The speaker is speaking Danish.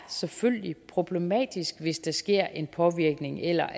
selvfølgelig er problematisk hvis der sker en påvirkning eller